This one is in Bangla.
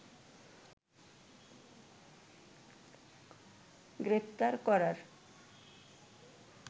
গ্রেফতার করার